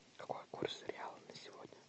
какой курс реала на сегодня